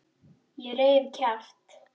Ég reif kjaft.